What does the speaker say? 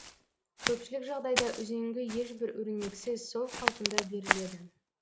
көпшілік жағдайда үзеңгі ешбір өрнексіз сол қалпында беріледі